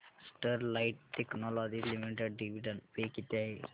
Sterlite technologies limited dividend pay किती आहे